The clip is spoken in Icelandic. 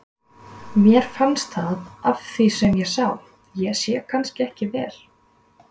Mér fannst það af því sem ég sá, ég sé kannski ekki vel.